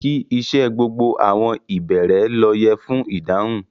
Kí íṣẹ̀ gbogbo àwọn ìbẹ̀rẹ̀ lo yẹ́ fún idáhùn.